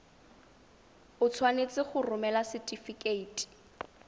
o tshwanetse go romela setefikeiti